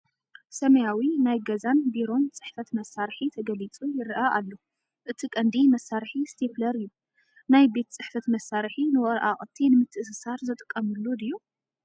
ሰማያዊ ናይ ገዛን ቢሮን ጽሕፈት መሳርሒ ተገሊጹ/ ይረአ ኣሎ። እቲ ቀንዲ መሳርሒ ስቴፕለር እዩ። ናይ ቤት ጽሕፈት መሳርሒ ንወረቓቕቲ ንምትእስሳር ዝጥቀሙሉ ድዩ?